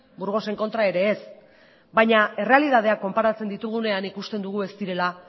burgosen kontra ere ez baina errealitatea konparatzen ditugunean ikusten dugu ez direla